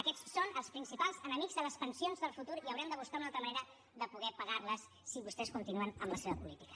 aquests són els principals enemics de les pensions del futur i haurem de buscar una altra manera de poder pagar les si vostès continuen amb la seva política